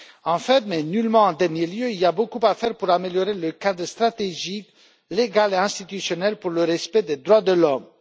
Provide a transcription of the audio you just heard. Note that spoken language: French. Enfin, mais nullement en dernier lieu, il y a beaucoup à faire pour améliorer le cadre stratégique légal et institutionnel pour le respect des droits de l'homme.